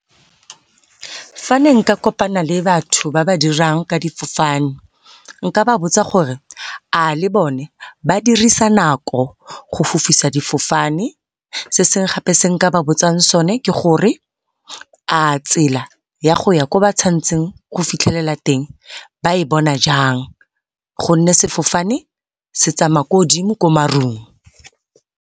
Fa ne nka kopana le batho ba ba dirang ka difofane nka ba botsa gore a le bone ba dirisa nako go fofisa difofane. Se sengwe gape se nka ba botsang sone ke gore, a tsela ya go ya ko ba tshwantseng go fitlhelela teng ba e bona jang, gonne sefofane se tsamaya ko godimo ko marung.